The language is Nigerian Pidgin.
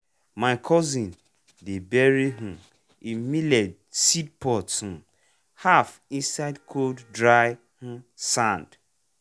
my cousin dey bury um e millet seed pot um half inside cold dry um sand.